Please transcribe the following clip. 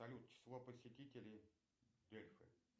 салют число посетителей